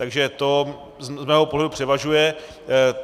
Takže to z mého pohledu převažuje.